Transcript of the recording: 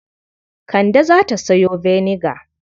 Kande za ta sayo vinegar.